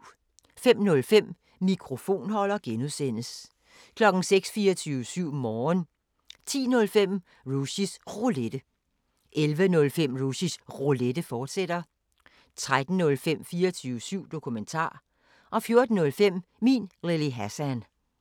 05:05: Mikrofonholder (G) 06:00: 24syv Morgen 10:05: Rushys Roulette 11:05: Rushys Roulette, fortsat 13:05: 24syv Dokumentar 14:05: Min Lille Hassan